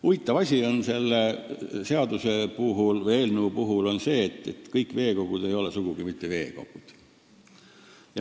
Huvitav asi on selle eelnõu kohaselt see, et kõik veekogud ei ole sugugi mitte veekogud.